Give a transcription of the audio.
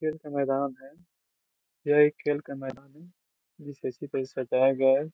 खेल का मैदान है । यह एक खेल का मैदान है सजाया गया है ।